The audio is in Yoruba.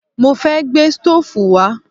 Mo fẹ́ gbé stóòfù wá